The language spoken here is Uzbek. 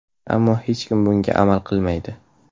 Ammo hech kim bunga amal qilmaydi.